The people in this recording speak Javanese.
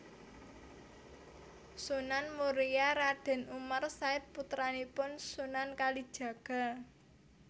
Sunan Muria Raden Umar Said putranipun Sunan Kalijaga